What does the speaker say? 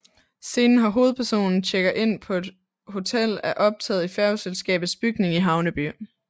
Scenen hvor hovedpersonen tjekker ind på et hotel er optaget i færgeselskabets bygning i Havneby